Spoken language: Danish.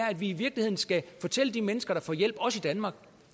at vi virkelig skal fortælle de mennesker der får hjælp også i danmark